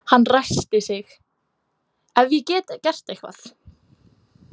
Hann ræskti sig: Ef ég get gert eitthvað.